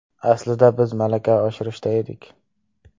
Aslida biz malaka oshirishda edik.